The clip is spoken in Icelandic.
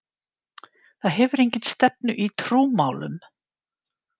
Það hefur enga stefnu í trúmálum.